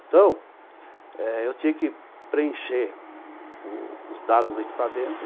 Então eh, eu tinha que preencher os dados do equipamento.